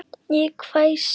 Ég hvæsi.